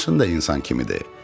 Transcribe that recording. Maşın da insan kimidir.